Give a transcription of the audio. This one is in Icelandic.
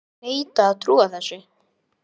Ég neita að trúa þessu.